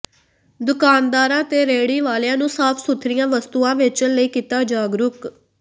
ਦੁਕਾਨਦਾਰਾਂ ਤੇ ਰੇਹੜੀ ਵਾਲਿਆਂ ਨੂੰ ਸਾਫ ਸੁਥਰੀਆਂ ਵਸਤੂਆਂ ਵੇਚਣ ਲਈ ਕੀਤਾ ਜਾਗਰੂਕ